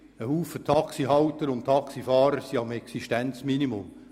Viele Taxihalter und -fahrer leben am Existenzminimum.